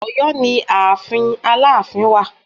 Ọ̀yọ́ ni ààfin Aláàfin wà